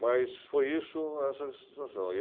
Mas foi isso, essa situação. Aí